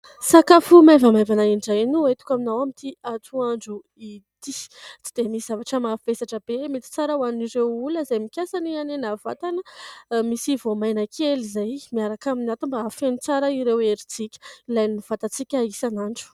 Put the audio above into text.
Sakafo maivamaivana indray no entiko aminao amin'ity atoandro ity. Tsy dia misy zavatra mavesatra be mety tsara ho an'ireo olona izay mikasa ny hanena vatana. Misy voamaina kely izay miaraka amin'ny ato mba hafeno tsara ireo herintsika ilain'ny vatantsika isan'andro.